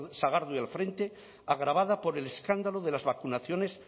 sagardui al frente agravada por el escándalo de las vacunaciones